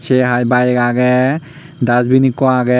se hai bike age dustbin ekku age.